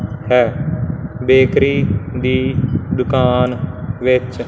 ਹੈ ਬੇਕਰੀ ਦੀ ਦੁਕਾਨ ਵਿੱਚ--